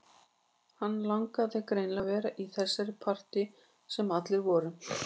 Hann langaði greinilega að vera í þessu partíi þar sem allir voru